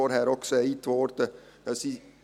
Vorhin wurde auch gesagt: